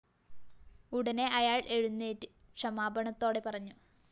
ഉടനെ അയാള്‍ എഴുന്നേറ്റ് ക്ഷമാപണത്തോടെ പറഞ്ഞു